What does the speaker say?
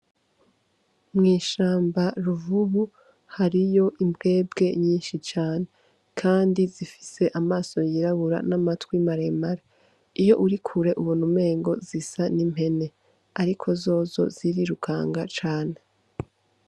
Mwishamba ruvubu hariyo imbwebwe nyinshi cane, kandi zifise amaso yirabura n'amatwi maremare iyo urikure, ubu numengo zisa n'impene, ariko zozo zirirukanga cane.